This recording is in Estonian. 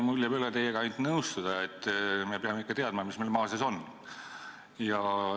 Mul jääb üle teiega ainult nõustuda, et me peame ikka teadma, mis meil maa sees on.